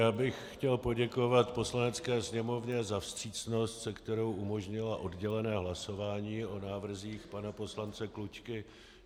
Já bych chtěl poděkovat Poslanecké sněmovně za vstřícnost, se kterou umožnila oddělené hlasování o návrzích pana poslance Klučky.